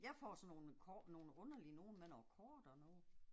Jeg får sådan nogle med nogle underlige nogle med noget kort og noget